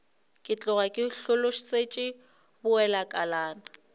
ke tloga ke hlolosetšwe bowelakalana